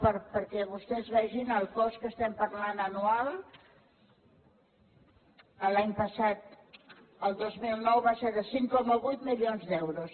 perquè vostès vegin el cost de què estem parlant anual l’any passat el dos mil nou va ser de cinc coma vuit mi lions d’euros